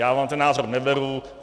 Já vám ten názor neberu.